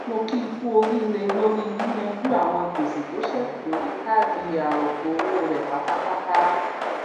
mo kíi kú oríre lórí yíyànjú àwọn gbèsè tó sẹkù lórí káàdì arọpọ owó rẹ pátápátá